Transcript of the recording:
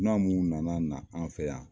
Dunan minnu nana na an fɛ yan